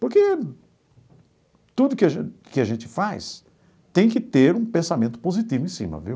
Porque tudo que a gen que a gente faz tem que ter um pensamento positivo em cima, viu?